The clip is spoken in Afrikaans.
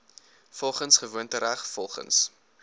volgens gewoontereg volgens